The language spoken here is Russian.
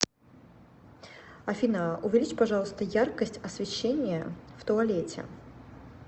афина увеличь пожалуйста яркость освещения в туалете